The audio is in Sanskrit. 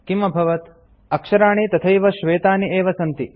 किम् अभवत् अक्षराणि तथैव श्वेतानि एव सन्ति